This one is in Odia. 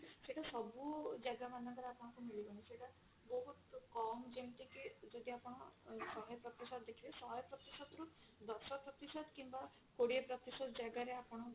ସେଟା ସବୁ ଜାଗା ମାନଙ୍କ ରେ ଆପଣଙ୍କୁ ମିଳିବନି ସେଟା ବହୁତ କମ ଯେମତି କି ଯଦି ଆପଣ ଅ ଶହେ ପ୍ରତିଶତ ଦେଖିବେ ଶହେ ପ୍ରତିଶତ ଦଶ ପ୍ରତିଶତ କିମ୍ବା କୋଡିଏ ପ୍ରତିଶତ ଜାଗା ରେ ଆପଣ